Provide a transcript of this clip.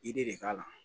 I de k'a la